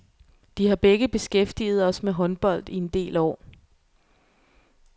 De har begge beskæftiget os med håndbold i en del år.